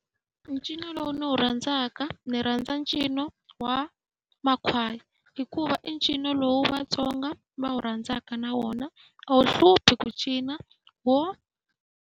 Ncino lowu ndzi wu rhandzaka ni rhandza ncino wa makhwaya hikuva i ncino lowu vaTsonga va wu rhandzaka na wona, a wu hluphi ku cina .